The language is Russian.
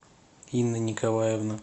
инна николаевна